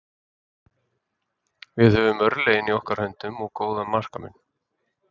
Við höfum örlögin í okkar höndum, og góðan markamun.